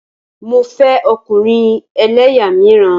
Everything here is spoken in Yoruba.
Mo fẹ́ ọkùnrin ẹlẹ́yà míràn.